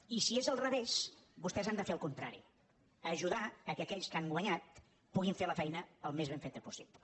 i si és al revés vostès han de fer el contra ri ajudar que aquells que han guanyat puguin fer la feina al més ben feta possible